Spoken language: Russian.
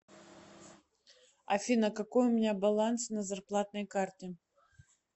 афина какой у меня баланс на зарплатной карте